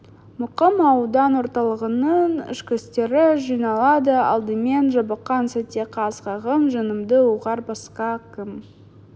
мұқым аудан орталығының ішкіштері жиналады алдымен жабыққан сәтте қас қағым жанымды ұғар басқа кім